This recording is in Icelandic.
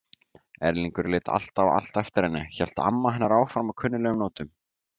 Erlingur lét alltaf allt eftir henni- hélt amma hennar áfram á kunnuglegum nótum.